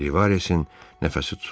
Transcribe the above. Rivaresin nəfəsi tutuldu.